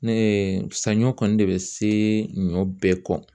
Ne ye saɲɔ kɔni de bɛ se ɲɔ bɛɛ kɔ